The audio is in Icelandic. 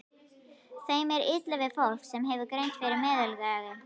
Þeim er illa við fólk, sem hefur greind yfir meðallagi.